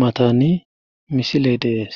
matani misiley dees